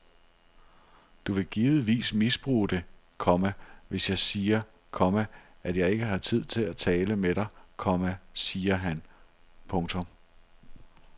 Du vil givetvis misbruge det, komma hvis jeg siger, komma at jeg ikke har tid til at tale med dig, komma siger han. punktum